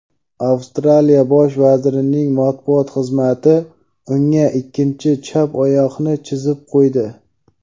Avstraliya bosh vazirining matbuot xizmati unga ikkinchi chap oyoqni chizib qo‘ydi.